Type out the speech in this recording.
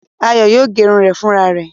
Ayọ̀ yóò gẹrun rẹ̀ fúnra rẹ̀.